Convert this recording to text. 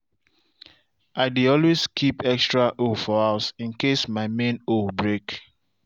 i dey always keep extra hoe for house in case my main hoe break.